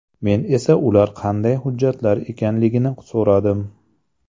Men esa ular qanday hujjatlar ekanligini so‘radim.